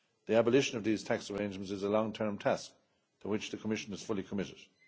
Union. The abolition of these tax arrangements is a long term task to which the Commission is fully